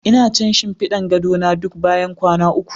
Ina canza shinfiɗin gado na duk bayan kwana uku.